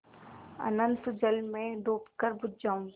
अनंत जल में डूबकर बुझ जाऊँ